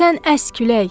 Sən əs külək!